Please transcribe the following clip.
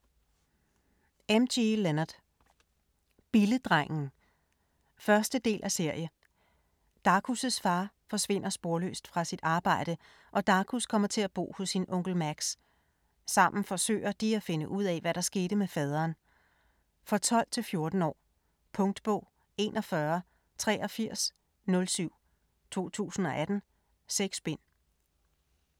Leonard, M. G.: Billedrengen 1. del af serie. Darkus' far forsvinder sporløst fra sit arbejde, og Darkus kommer til at bo hos sin onkel Max. Sammen forsøger de at finde ud af hvad der skete med faderen. For 12-14 år. Punktbog 418307 2018. 6 bind.